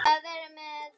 Barnið hvarf.